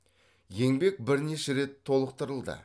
еңбек бірнеше рет толықтырылды